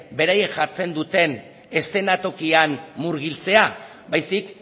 beraiek jartzen duten eszenatokian murgiltzea baizik